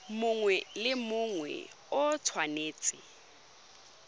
mongwe le mongwe o tshwanetse